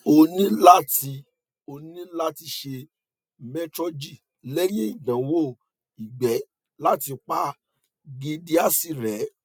oni la ti oni la ti se metrogyl lehin idanwo igbe lati pa giardiasis re